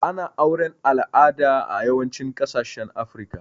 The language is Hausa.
Ana auren alada a yawancin kasashen afrika